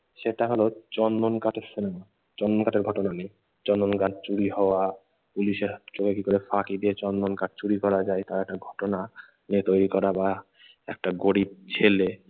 সেটা হলো চন্দন কাঠের চন্দন কাঠের ঘটনা নিয়ে। চন্দন গাছ চুরি হওয়া, পুলিশের হাত থেকে চোরেরা কি করে ফাঁকি দিয়ে চন্দন কাঠ চুরি করা যায় তার একটা ঘটনা নিয়ে তৈরি করা বা একটা গরিব ছেলে